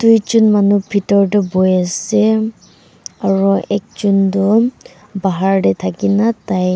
duijon manu bithor teh bohi ase aro ekjon tu bahar teh thaki na tai--